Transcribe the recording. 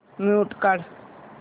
mute काढ